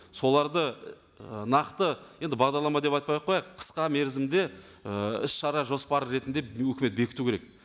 соларды ы нақты енді бағдарлама деп айтпай ақ қояйық қысқа мерзімде ы іс шара жоспары ретінде өкімет бекіту керек